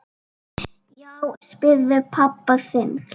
Já, spyrðu pabba þinn!